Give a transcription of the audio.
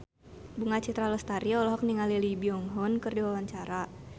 Bunga Citra Lestari olohok ningali Lee Byung Hun keur diwawancara